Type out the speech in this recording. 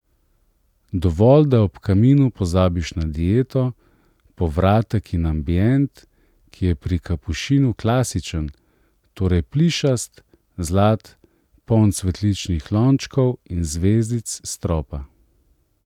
Dovolj, da ob kaminu pozabiš na dieto, povratek in ambient, ki je pri Kapušinu klasičen, torej plišast, zlat, poln cvetličnih lončkov in zvezdic s stropa.